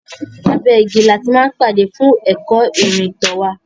Abé igi ni a ti máa ń pàdé fún ẹ̀kọ́ ìrìntàn wá.